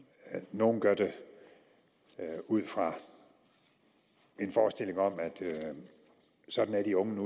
nogle gør det ud fra en forestilling om at sådan er de unge